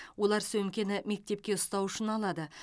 олар сөмкені мектепке ұстау үшін алады